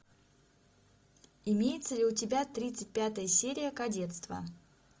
имеется ли у тебя тридцать пятая серия кадетство